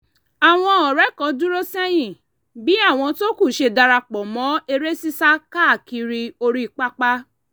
àwọn ọ̀rẹ́ kan dúró sẹ́yìn bí àwọn tó kù ṣe darapọ̀ mọ́ eré sísá káàkiri orí pápá